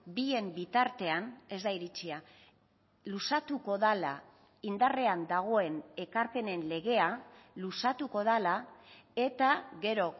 bien bitartean ez da iritsia luzatuko dela indarrean dagoen ekarpenen legea luzatuko dela eta gero